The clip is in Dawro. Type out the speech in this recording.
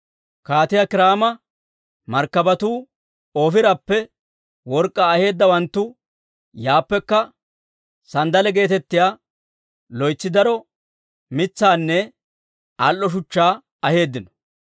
(Kaatiyaa Kiiraama markkabatuu, Oofirappe work'k'aa aheeddawanttu yaappekka sanddale geetettiyaa loytsi daro mitsaanne al"o shuchchaa aheeddino.